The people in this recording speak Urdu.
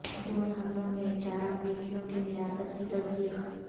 ڈرون حملوں میں چار امریکیوں کی ہلاکت کی تصدیق